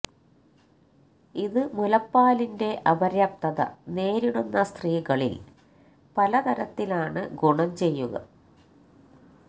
ഇത് മുലപ്പാലിന്റെ അപര്യാപ്തത നേരിടുന്ന സ്ത്രീകളില് പല തരത്തിലാണ് ഗുണം ചെയ്യുക